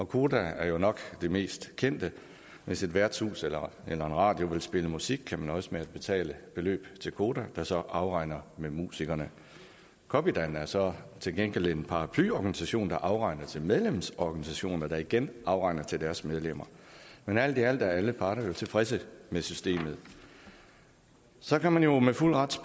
koda er nok det mest kendte hvis et værtshus eller en radiokanal vil spille musik kan man nøjes med at betale beløb til koda der så afregner med musikerne copydan er så til gengæld en paraplyorganisation der afregner til medlemsorganisationer der igen afregner til deres medlemmer men alt i alt er alle parter jo tilfredse med systemet så kan man jo med fuld ret